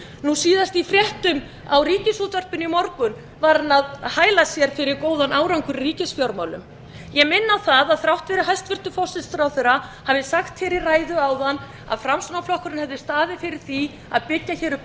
nú síðast í fréttum í ríkisútvarpinu í morgun var hann að hæla sér fyrir góðan árangur í ríkisfjármálum ég minni á það að þrátt fyrir að hæstvirtur forsætisráðherra hafi sagt í ræðu áðan að framsóknarflokkurinn hafi staðið fyrir því að byggja upp